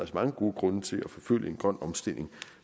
mange gode grunde til at forfølge en grøn omstilling